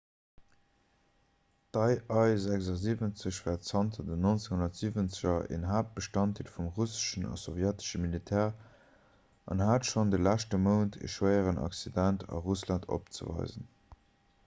d'ii-76 war zanter den 1970er en haaptbestanddeel vum russeschen a sowjetesche militär an hat schonn de leschte mount e schwéieren accident a russland opzeweisen